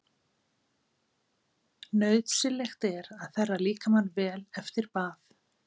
Nauðsynlegt er að þerra líkamann vel eftir bað.